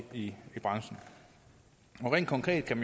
i branchen rent konkret kan